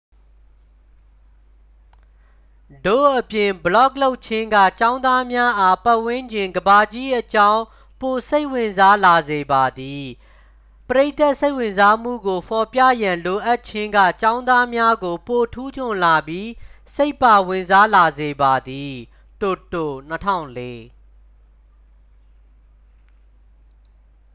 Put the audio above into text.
"ထို့အပြင် ဘလော့ဂ်လုပ်ခြင်းက "ကျောင်းသားများအား ပတ်ဝန်းကျင် ကမ္ဘာကြီးအကြောင်း ပိုစိတ်ဝင်စားလာစေပါသည်။" ပရိသတ်စိတ်ဝင်စားမှုကို ဖော်ပြရန် လိုအပ်ခြင်းက ကျောင်းသားများကို ပိုထူးချွန်လာပြီး စိတ်ပါဝင်စားလာစေပါသည် တိုတို၊ ၂၀၀၄။